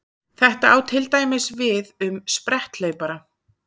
Þetta á til dæmis við um spretthlaupara.